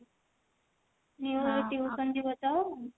ଏବେ tuition ଯିବ ତ